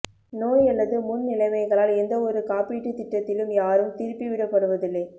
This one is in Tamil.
நோய் அல்லது முன் நிலைமைகளால் எந்தவொரு காப்பீட்டுத் திட்டத்திலும் யாரும் திருப்பி விடப்படுவதில்லை